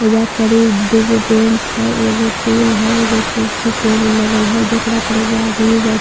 एइजा पड़ी दूगो बेंच है एगो टूल है एगो कुर्सी टेबल लगल है जेकरा पड़ी एगो आदमी ब --